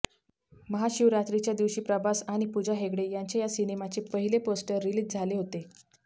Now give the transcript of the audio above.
महाशिवरात्रीच्या दिवशी प्रभास आणि पूजा हेगडे यांच्या या सिनेमाचे पहिले पोस्टर रिलीज झाले होते